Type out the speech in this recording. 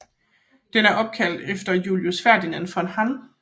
Den er opkaldt efter Julius Ferdinand von Hann